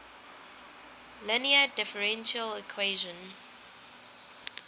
linear differential equation